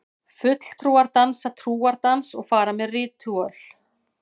Fulltrúar dansa trúardans og fara með ritúöl.